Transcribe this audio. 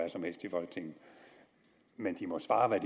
folketinget men de må svare hvad